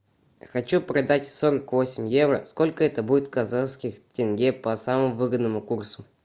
хочу продать сорок восемь евро сколько это будет в казахских тенге по самому выгодному курсу